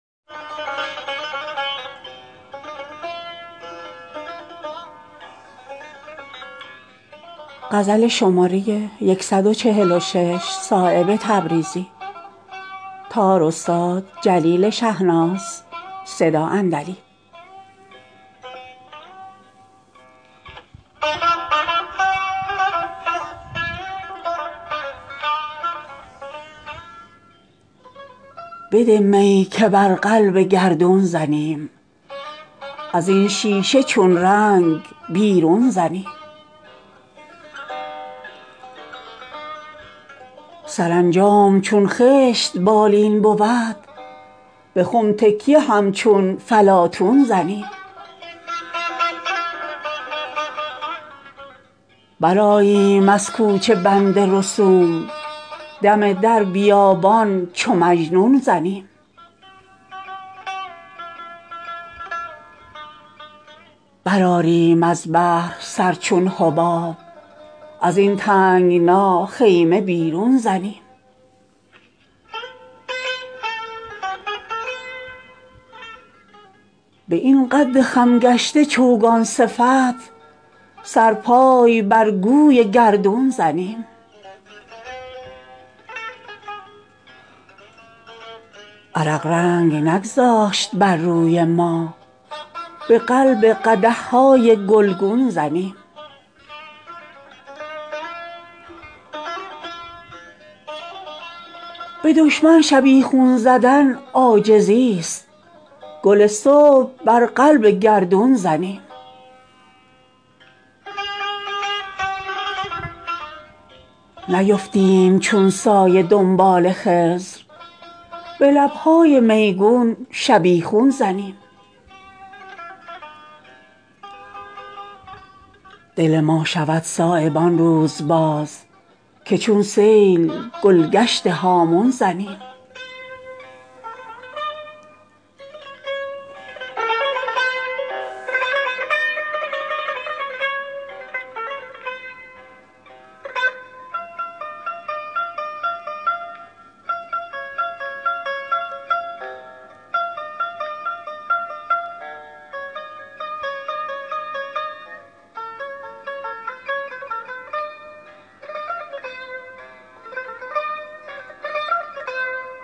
بده می که بر قلب گردون زنیم ازین شیشه چون رنگ بیرون زنیم سرانجام چون خشت بالین بود به خم تکیه همچون فلاطون زنیم برآییم از کوچه بند رسوم قدم در بیابان چو مجنون زنیم بمالیم در زیر پا حرص را کف خاک بر چشم قارون زنیم برآریم از بحر سر چون حباب ازین تنگنا خیمه بیرون زنیم به این قد خم گشته چوگان صفت سرپای بر گوی گردون زنیم می لعل خونش به جوش آمده است چه افتاده پیمانه در خون زنیم عرق رنگ نگذاشت بر روی ما به قلب قدحهای گلگون زنیم به دشمن شبیخون زدن عاجزی است گل صبح بر قلب گردون زنیم نیفتیم چون سایه دنبال خضر به لبهای میگون شبیخون زنیم چو خودپای بربخت خود می زنیم چرا طعن بر بخت وارون زنیم به خلق ارچه از خاک ره کمتریم به همت سراز اوج گردون زنیم دل ما شود صایب آن روز باز که چون سیل گلگشت هامون زنیم